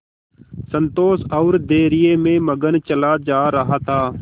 संतोष और धैर्य में मगन चला जा रहा था